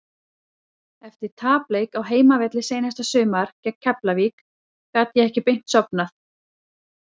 Eftir tapleik á heimavelli seinasta sumar gegn Keflavík gat ég ekki beint sofnað.